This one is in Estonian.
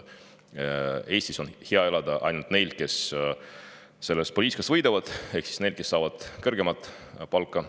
Eestis on hea elada ainult neil, kes sellest poliitikast võidavad, ehk nendel, kes saavad kõrgemat palka.